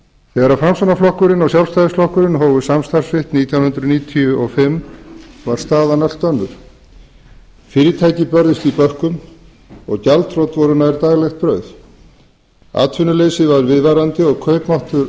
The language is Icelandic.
þegar framsóknarflokkur og sjálfstæðisflokkur hófu ríkisstjórnarsamstarf sitt að loknum alþingiskosningum árið nítján hundruð níutíu og fimm var staðan allt önnur fyrirtæki börðust í bökkum og gjaldþrot voru nær daglegt brauð atvinnuleysi var viðvarandi og kaupmáttur